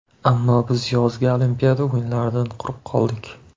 Ammo biz yozgi Olimpiada o‘yinlaridan quruq qoldik.